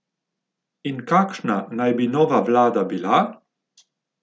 In kakšna naj bi nova vlada bila?